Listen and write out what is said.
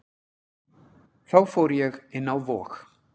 Þá fór ég inn á Vog.